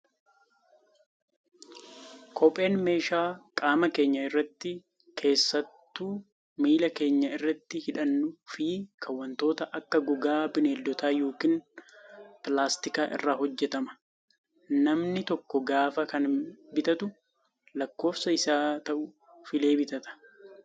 Kopheen meeshaa qaama keenya irratti keessattuu miila keenya irratti hidhannuu fi kan wantoota akka gogaa bineeldotaa yookaan pilaastikaa irraa hojjatama. Namni tokko gaafa kana bitatu lakkoofsa isaaf ta'u filee bitata.